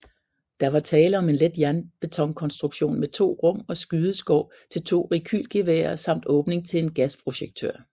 Der var tale om en let jernbetonkonstruktion med 2 rum og skydeskår til 2 rekylgeværer samt åbning til en gasprojektør